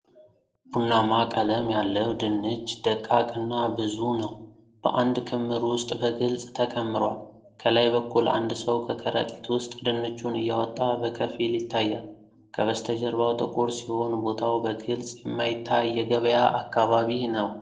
ቡናማ ቀለም ያለው ድንች ደቃቅ እና ብዙ ነው፣ በአንድ ክምር ውስጥ በግልጽ ተከምሯል። ከላይ በኩል አንድ ሰው ከከረጢት ውስጥ ድንቹን እያወጣ በከፊል ይታያል። ከበስተጀርባው ጥቁር ሲሆን፣ ቦታው በግልጽ የማይታይ የገበያ አካባቢ ነው።